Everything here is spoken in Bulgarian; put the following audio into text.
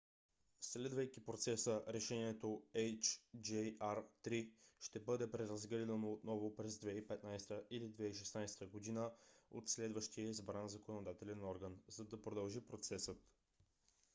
следвайки процеса решението hjr-3 ще бъде преразгледано отново през 2015 г. или 2016 г. от следващия избран законодателен орган за да продължи процесът